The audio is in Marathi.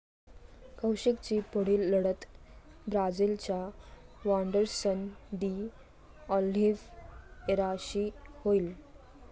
कौशिकची पुढील लढत ब्राझीलच्या वांडरसन डी ऑलिव्हिएराशी होईल.